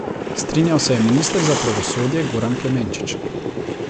Strinjal se je minister za pravosodje Goran Klemenčič.